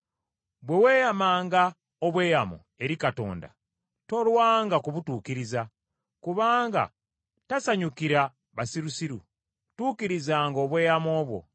Bwe weeyamanga obweyamo eri Katonda tolwanga kubutuukiriza, kubanga tasanyukira basirusiru. Tuukirizanga obweyamo bwo.